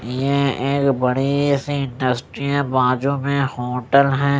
ये एक बड़ी सी इंडस्ट्री है बाजू में होटल है।